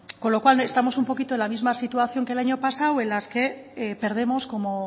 con lo cual estamos un poquito en la misma situación que el año pasado en las que perdemos como